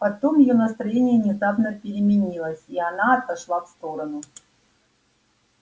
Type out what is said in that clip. потом её настроение внезапно переменилось и она отошла в сторону